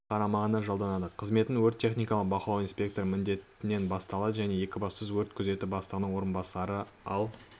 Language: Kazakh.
қарамағына жалданды қызметін өрт-техникалық бақылау инспекторы міндетінен бастады және екібастұз өрт күзеті бастығының орынбасары ал